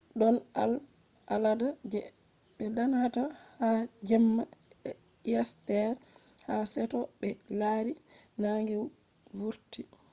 don al’ada je be danata ha jemma easter ha seto be lari nange vurti